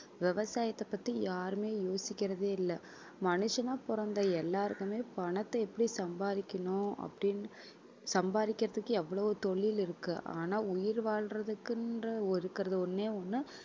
விவசாயத்தைப் பத்தி யாருமே யோசிக்கிறதே இல்ல மனுஷனா பொறந்த எல்லாருக்குமே பணத்தை எப்படி சம்பாதிக்கணும் அப்படின்னு சம்பாதிக்கிறதுக்கு எவ்ளோ தொழில் இருக்கு ஆனா உயிர் வாழ்றதுக்குன்ற இருக்குற ஒன்னே ஒன்னு